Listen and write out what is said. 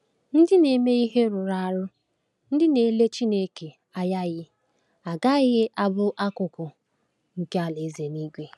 Ndị na-eme ihe rụrụ arụ, ndị na-ele Chineke anyaghị, agaghị abụ akụkụ nke Alaeze ya.